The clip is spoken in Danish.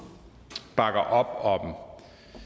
bakker op om